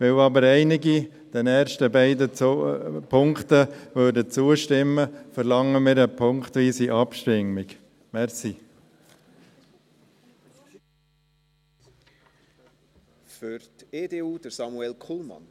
Weil aber einige den ersten beiden Punkten zustimmen würden, verlangen wir eine punktweise Abstimmung.